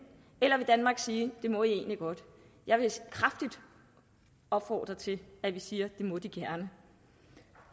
at vil danmark sige at det må de egentlig godt jeg vil kraftigt opfordre til at vi siger at det må de gerne